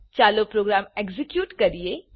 ચાલો program execute કરીએ